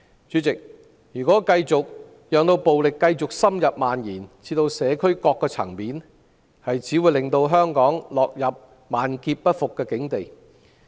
主席，若繼續讓暴力深入蔓延至社區各個層面，只會令香港落入萬劫不復的境地。